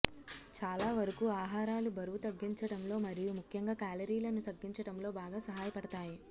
చాలా వరకూ ఆహారాలు బరువు తగ్గించడంలో మరియు ముఖ్యంగా క్యాలరీలను తగ్గించడంలో బాగా సహాయపడుతాయి